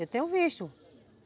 Eu tenho visto.